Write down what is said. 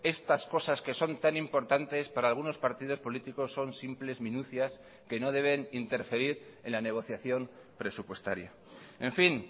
estas cosas que son tan importantes para algunos partidos políticos son simples minucias que no deben interferir en la negociación presupuestaria en fin